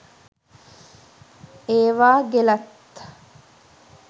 ඒවා ගෙලත්